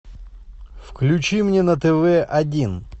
включи мне на тв один